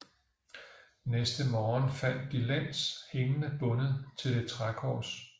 Næste morgen fandt de Lenz hængende bundet til et trækors